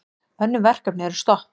Önnur verkefni eru stopp.